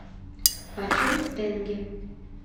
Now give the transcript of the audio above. почем тенге